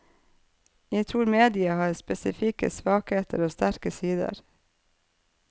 Jeg tror mediet har spesifikke svakheter og sterke sider.